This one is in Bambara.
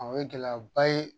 O ye gɛlɛyaba ye